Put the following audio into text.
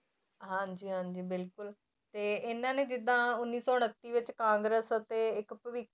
ਹਾਂਜੀ ਹਾਂਜੀ ਬਿਲਕੁਲ ਤੇ ਇਹਨਾਂ ਨੇ ਜਿੱਦਾਂ ਉੱਨੀ ਸੌ ਉਣੱਤੀ ਵਿੱਚ ਕਾਂਗਰਸ ਅਤੇ ਇੱਕ ਭਵਿ~